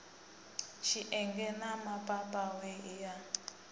tshienge na mapapawe i a